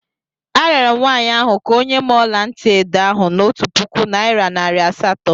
Arịọrọ m nwaanyị ahụ ka o nye m ọla ntị edo ahụ n'otu puku naịra nari asatọ.